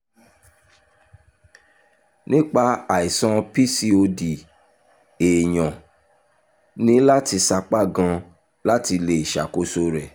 nípa àìsàn pcod èèyàn ní láti sapá gan-an láti lè ṣàkóso rẹ̀